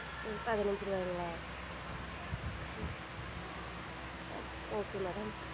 பதினஞ்சு ருவாங்களா? உம் okay madam